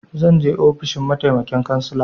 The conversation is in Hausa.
Zan je ofishin mataimakin cansala.